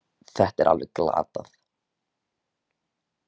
Þetta er alveg glatað